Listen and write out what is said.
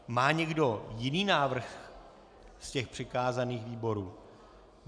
Má někdo jiný návrh z těch přikázaných výborů?